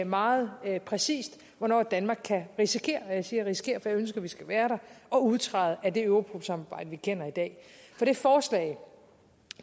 meget præcist hvornår danmark kan risikere og jeg siger risikere for jeg ønsker vi skal være der at udtræde af det europol samarbejde vi kender i dag for det forslag